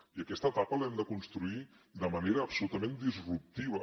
i aquesta etapa l’hem de construir de manera absolutament disruptiva